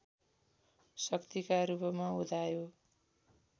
शक्तिका रूपमा उदायो